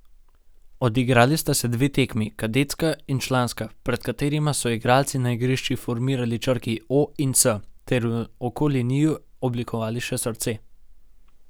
Odigrali sta se dve tekmi, kadetska in članska, pred katerima so igralci na igrišču formirali črki O in C ter ter okoli njiju oblikovali še srce.